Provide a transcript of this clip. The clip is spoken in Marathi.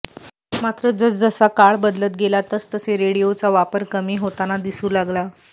मात्र जसजसा काळ बदलत गेला तसतसे रेडिओचा वापर कमी होताना दिसू लागला